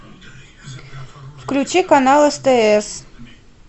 включи канал стс